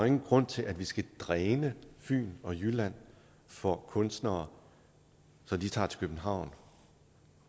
ingen grund til at vi skal dræne fyn og jylland for kunstnere så de tager til københavn